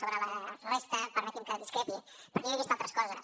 sobre la resta permeti’m que discrepi perquè jo he vist altres coses